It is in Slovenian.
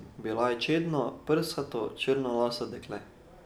Bila je čedno, prsato, črnolaso dekle.